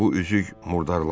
Bu üzük murdarlanıb.